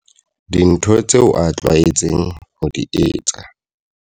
Dinthong tseo a tlwaetseng ho di etsa.